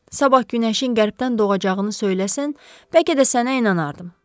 Sabah günəşin qərbdən doğacağını söyləsən, bəlkə də sənə inanardım.